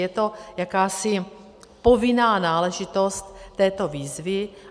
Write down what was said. Je to jakási povinná náležitost této výzvy.